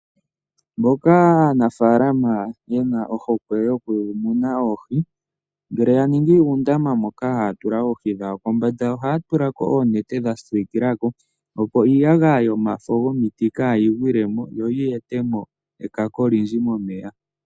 Moka aanafaalama yena ohokwe yokumuna oohi ngele yaningi uundama wokutula oohi dhawo kombanda ohaya tulako oonete dhasiikilako opo iiyagaya yomafo gomiti kaayigwilemo yo yi etemo ekako olindji moneya.